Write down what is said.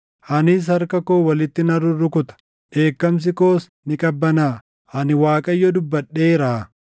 Anis harka koo walitti nan rurrukuta; dheekkamsi koos ni qabbanaaʼa. Ani Waaqayyo dubbadheeraa.”